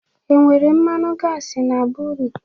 E nwere mmanu gasị na be unu?